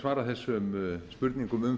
svara þessum spurningum um